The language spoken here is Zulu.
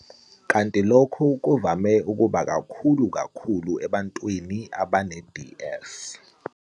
Kanti lokhu kuvame ukuba kukhulu kakhulu ebantwini abane-DS.